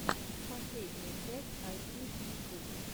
последняя часть айтищинфу